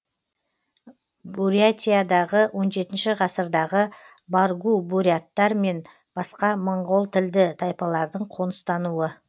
бурятиядағы он жетінші ғасырдағы баргу буряттар мен басқа моңғолтілді тайпалардың қоныстануы